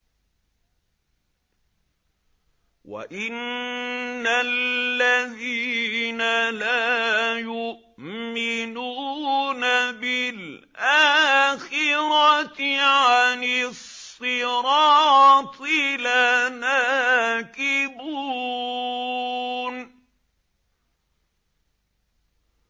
وَإِنَّ الَّذِينَ لَا يُؤْمِنُونَ بِالْآخِرَةِ عَنِ الصِّرَاطِ لَنَاكِبُونَ